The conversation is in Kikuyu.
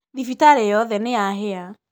Thibitarĩyothe nĩyahĩa.